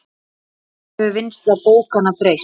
Hvernig hefur vinnsla bókanna breyst?